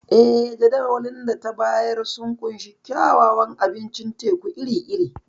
Eh, Jadawalin da ta bayar sun ƙunshi kyawawan abincin teku iri-iri.